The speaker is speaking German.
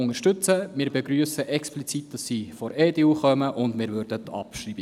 Explizit begrüssen wir, dass sie von der EDU eingereicht worden ist.